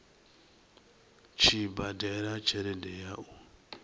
tshi badela tshelede ya u